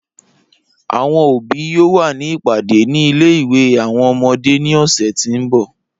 Awọn obi yoo wa ni ipade ni ile-iwe awọn ọmọde ni ọsẹ ti nbọ.